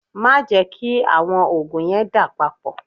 Má jẹ kí àwọn òògùn yẹn dà papọ̀.